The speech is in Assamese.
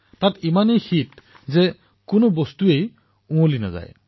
তাত ইমান শীতত পচন ক্ৰিয়াও অসম্ভৱ